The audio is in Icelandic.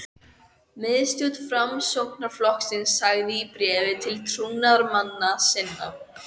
Miðstjórn Framsóknarflokksins sagði í bréfi til trúnaðarmanna sinna